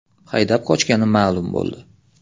haydab qochgani ma’lum bo‘ldi.